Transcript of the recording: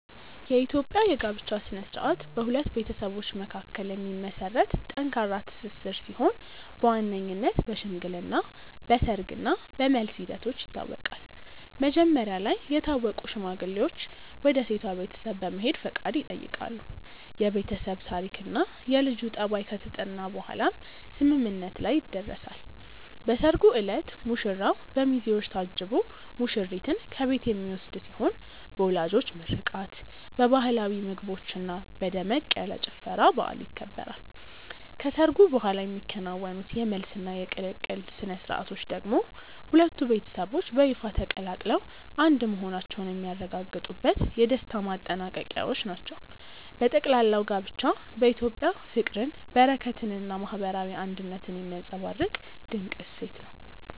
የኢትዮጵያ የጋብቻ ሥነ ሥርዓት በሁለት ቤተሰቦች መካከል የሚመሰረት ጠንካራ ትስስር ሲሆን በዋነኝነት በሽምግልና፣ በሰርግ እና በመልስ ሂደቶች ይታወቃል። መጀመሪያ ላይ የታወቁ ሽማግሌዎች ወደ ሴቷ ቤተሰብ በመሄድ ፈቃድ ይጠይቃሉ፤ የቤተሰብ ታሪክና የልጁ ጠባይ ከተጠና በኋላም ስምምነት ላይ ይደረሳል። በሰርጉ ዕለት ሙሽራው በሚዜዎች ታጅቦ ሙሽሪትን ከቤት የሚወስድ ሲሆን በወላጆች ምርቃት፣ በባህላዊ ምግቦችና በደመቅ ያለ ጭፈራ በዓሉ ይከበራል። ከሰርጉ በኋላ የሚከናወኑት የመልስና የቅልቅል ሥነ ሥርዓቶች ደግሞ ሁለቱ ቤተሰቦች በይፋ ተቀላቅለው አንድ መሆናቸውን የሚያረጋግጡበት የደስታ ማጠናቀቂያዎች ናቸው። በጠቅላላው ጋብቻ በኢትዮጵያ ፍቅርን፣ በረከትንና ማህበራዊ አንድነትን የሚያንፀባርቅ ድንቅ እሴት ነው።